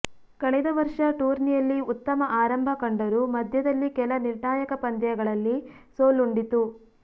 ಕಳೆದ ವರ್ಷ ಟೂರ್ನಿಯಲ್ಲಿ ಉತ್ತಮ ಆರಂಭ ಕಂಡರೂ ಮಧ್ಯದಲ್ಲಿ ಕೆಲ ನಿರ್ಣಾಯಕ ಪಂದ್ಯಗಳಲ್ಲಿ ಸೋಲುಂಡಿತು